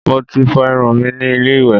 Mo ti fọ irun mi ní ilé ìwẹ̀